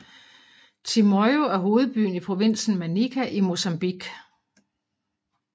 Chimoio er hovedbyen i provinsen Manica i Mozambique